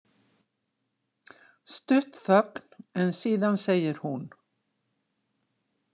Stutt þögn en síðan segir hún: